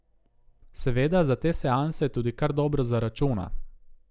Seveda za te seanse tudi kar dobro zaračuna.